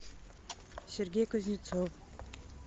сергей кузнецов